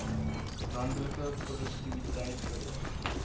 landelike produktiwiteit verhoog